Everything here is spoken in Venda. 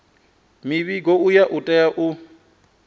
muvhigo uyu u tea u